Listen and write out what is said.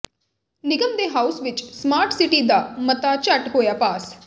ਨਿਗਮ ਦੇ ਹਾਊਸ ਵਿੱਚ ਸਮਾਰਟ ਸਿਟੀ ਦਾ ਮਤਾ ਝੱਟ ਹੋਇਆ ਪਾਸ